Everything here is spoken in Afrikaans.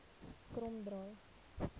kromdraai